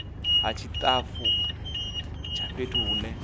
ha tshitafu tsha fhethu hune